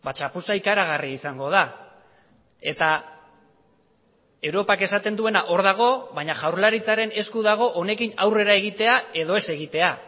txapuza ikaragarria izango da eta europak esaten duena hor dago baina jaurlaritzaren esku dago honekin aurrera egitea edo ez egitea